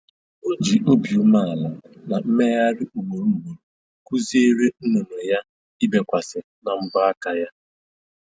O ji obi umeala na mmegharị ugboro ugboro kụziere nnụnụ ya ibekwasị na mbọ aka ya